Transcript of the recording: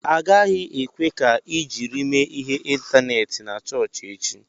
Agaghị ekwe ka ị jiri mee ihe ịntaneetị na chọọchị echi!